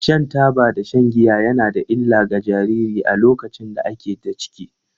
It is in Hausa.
Shan taba da shan giya ya na da illa ga jariri a lokacin da a ke da ciki.